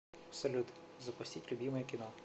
салют запустить любимое кино